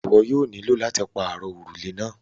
Ìwọ yóò nílọ láti parọ orúlẹ̀ náà.